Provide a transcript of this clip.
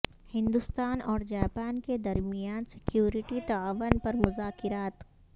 ہندوستان اور جاپان کے درمیان سکیورٹی تعاون پر مذاکرات